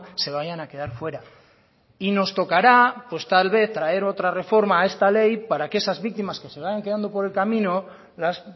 se vayan a quedar fuera y nos tocará tal vez traer otra reforma a esta ley para que esas víctimas que se vayan quedando por el camino las